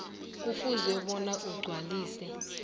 kufuze bona agcwalise